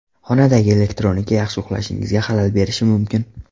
Xonadagi elektronika yaxshi uxlashingizga xalal berishi mumkin.